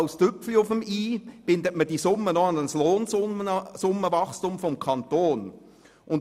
Als Tüpfelchen auf dem i bindet man diese Summen noch an das Lohnsummenwachstum des Kantons.